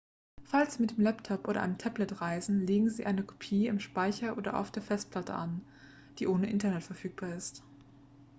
falls sie mit einem laptop oder einem tablet reisen legen sie eine kopie im speicher oder auf der festplatte an die ohne internet verfügbar ist